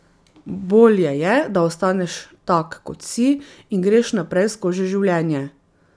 Bolje je, da ostaneš tak, kot si, in greš naprej skozi življenje.